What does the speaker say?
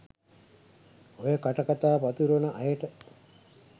ඔය කට කතා පතුරවන අයට